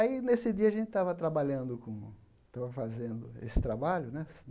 Aí, nesse dia, a gente estava trabalhando com... Estava fazendo esse trabalho, né?